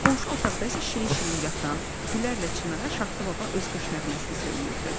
Qonşu otaqda isə şirin-şirin yatan, Gülərlə Çinara Şaxta Baba öz qış nəğməsini söyləyirdi.